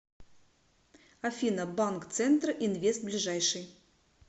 афина банк центр инвест ближайший